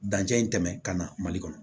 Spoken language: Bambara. Dancɛ in tɛmɛ ka na mali kɔnɔ